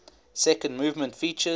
second movement features